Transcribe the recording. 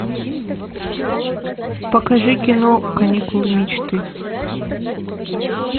покажи кино каникулы мечты